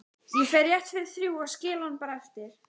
Ég fer rétt fyrir þrjú og skil hann bara eftir